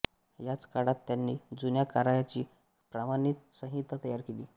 याच काळात त्यांनी जुन्या कराराची प्रमाणित संहिता तयार केली